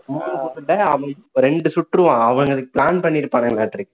மூணு குண்ட அவன் ரெண்டு சுட்டுருவான் அவனுங்க plan பண்ணி இருப்பாங்கலாட்டுருக்கு